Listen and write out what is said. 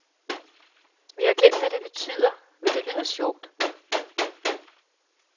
Vi har glemt, hvad det betyder, men det lyder sjovt.